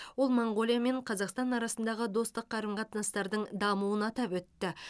ол моңғолия мен қазақстан арасындағы достық қарым қатынастардың дамуын атап өтті